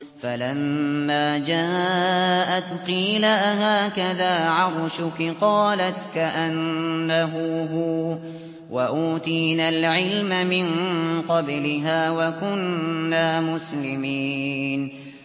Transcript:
فَلَمَّا جَاءَتْ قِيلَ أَهَٰكَذَا عَرْشُكِ ۖ قَالَتْ كَأَنَّهُ هُوَ ۚ وَأُوتِينَا الْعِلْمَ مِن قَبْلِهَا وَكُنَّا مُسْلِمِينَ